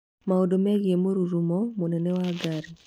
maũndũ megiĩ mũrurumo mũnene wa ngari